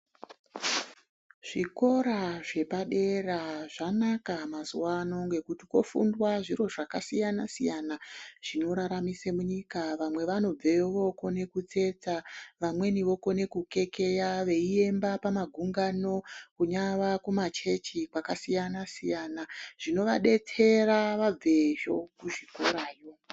Zvikora zvepadera zvanaka mazuvano ngekuti kofundwa zviro zvakasiyana-siyana zvinoraramise munyika. Vamwe vanobveyo vookone kutsetsa, vamweni vokone kukekeya veiemba pamagungano kunyava kumachechi kwakasiyana-siyana. Zvinovadetsera vabveyo kuzvikorayo.